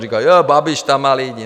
Říkali: Jé, Babiš tam má lidi.